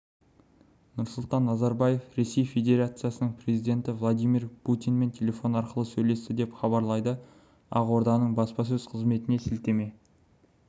нұрсұлтан назарбаев ресей федерациясының президенті владимир путинмен телефон арқылы сөйлесті деп хабарлайды ақорданың баспасөз қызметіне сілтеме